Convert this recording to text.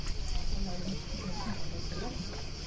атаулы әлеуметтік көмектің пайдасы бар